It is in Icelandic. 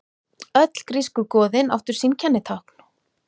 Öll grísku goðin áttu sín kennitákn.